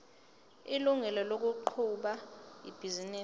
ilungelo lokuqhuba ibhizinisi